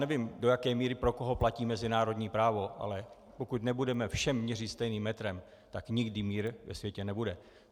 Nevím, do jaké míry pro koho platí mezinárodní právo, ale pokud nebudeme všem měřit stejným metrem, tak nikdy mír ve světě nebude.